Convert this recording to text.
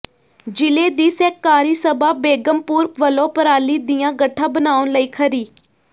ਜ਼ਿਲ੍ਹੇ ਦੀ ਸਹਿਕਾਰੀ ਸਭਾ ਬੇਗਮਪੁਰ ਵਲੋਂ ਪਰਾਲੀ ਦੀਆਂ ਗੱਠਾਂ ਬਣਾਉਣ ਲਈ ਖਰੀ